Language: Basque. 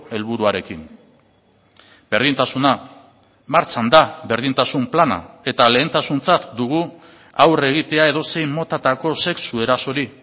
helburuarekin berdintasuna martxan da berdintasun plana eta lehentasuntzat dugu aurre egitea edozein motatako sexu erasori